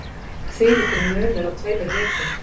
Þvílíkur munur á tveimur vikum